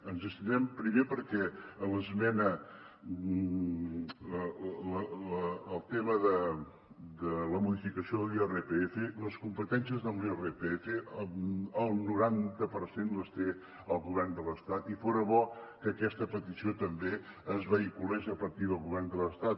ens hi abstindrem primer perquè el tema de la modificació de l’irpf les competències amb l’irpf el noranta per cent les té el govern de l’estat i fora bo que aquesta petició també es vehiculés a partir del govern de l’estat